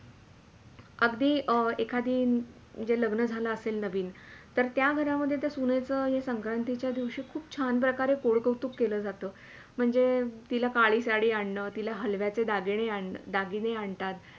अगदी एखादं जे लग्न झाला असेल नवीन तर त्या घरामधे तर त्या सुणेच या संक्रांतीचा दिवशी खूप छान प्रकारे गोड -कौतुक केल्या जातो. म्हणजे तिला काळी साडी आणण हलव्याचे दागिने आणतात